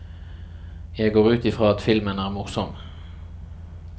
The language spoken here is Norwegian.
Jeg går ut i fra at filmen er morsom.